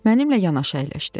mənimlə yanaşı əyləşdi.